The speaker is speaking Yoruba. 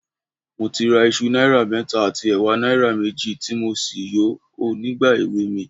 Mo ti ra iṣu náírà mẹ́ta àti ẹ̀wà náírà méjì, tí mo sì yò ó nígbà èweè mi